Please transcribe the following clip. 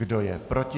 Kdo je proti?